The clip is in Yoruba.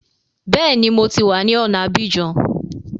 Bẹ́ẹ̀ni, mo ti wá ní ọ̀na Abidjan